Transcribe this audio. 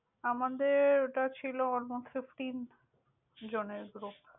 আমাদের ওটা ছিল almost fifteenth জন এর group ।